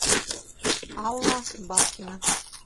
алла бабкина